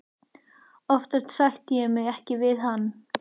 Oftast sætti ég mig ekki við hann.